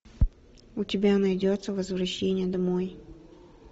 у тебя найдется возвращение домой